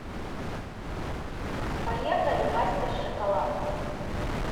поехали мастер шоколад